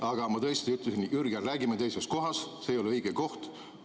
Aga ma tõesti ütlesin: "Jürgen, räägime teises kohas, see ei ole õige koht.